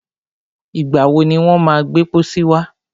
Ìgbà wọ ni wọ́n má gbẹ́ pọ́sí wá?